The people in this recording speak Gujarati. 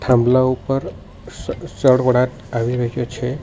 થાંભલા ઉપર સળવળાટ આવી રહ્યુ છે.